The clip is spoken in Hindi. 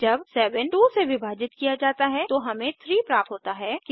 जब 7 2 से विभाजित किया जाता है तो हमें 3 प्राप्त होता है